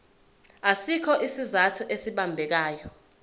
asikho isizathu esibambekayo